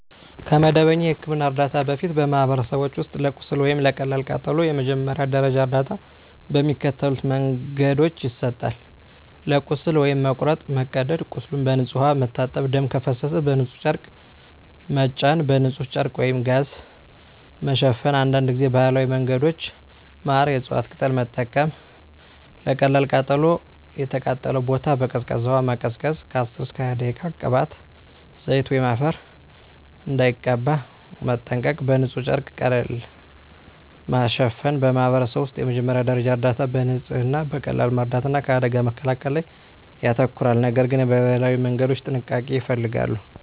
ከመደበኛ የሕክምና እርዳታ በፊት፣ በማኅበረሰቦች ውስጥ ለቁስል ወይም ለቀላል ቃጠሎ የመጀመሪያ ደረጃ እርዳታ በሚከተሉት መንገዶች ይሰጣል፦ ለቁስል (መቁረጥ፣ መቀደድ) ቁስሉን በንጹሕ ውሃ መታጠብ ደም ከፈሰሰ በንጹሕ ጨርቅ መጫን በንጹሕ ጨርቅ/ጋዝ መሸፈን አንዳንድ ጊዜ ባህላዊ መንገዶች (ማር፣ የእፅዋት ቅጠል) መጠቀም 2. ለቀላል ቃጠሎ የተቃጠለውን ቦታ በቀዝቃዛ ውሃ ማቀዝቀዝ (10–20 ደቂቃ) ቅባት፣ ዘይት ወይም አፈር እንዳይቀባ መጠንቀቅ በንጹሕ ጨርቅ ቀለል ማሸፈን በማኅበረሰብ ውስጥ የመጀመሪያ ደረጃ እርዳታ በንጽህና፣ በቀላል መርዳት እና ከአደጋ መከላከል ላይ ያተኮራል፤ ነገር ግን የባህላዊ መንገዶች ጥንቃቄ ይፈልጋሉ።